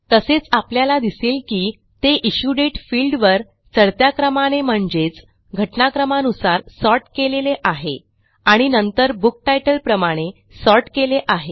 तसेच आपल्याला दिसेल की ते इश्यू दाते फील्ड वर चढत्या क्रमाने म्हणजेच घटनाक्रमानुसार सॉर्ट केलेले आहे आणि नंतर बुक टायटल प्रमाणे सॉर्ट केले आहे